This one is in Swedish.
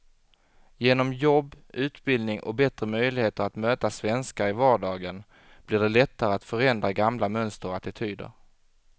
Genom jobb, utbildning och bättre möjligheter att möta svenskar i vardagen blir det lättare att förändra gamla mönster och attityder.